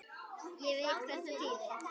Ég veit hvað það þýðir.